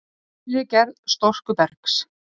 Æ, elskan mín, ég hef bara enga skoðun á þessum málum.